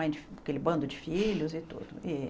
Aquele bando de filhos e tudo e.